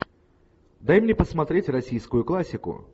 дай мне посмотреть российскую классику